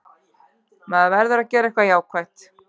Maður verður að gera eitthvað jákvætt.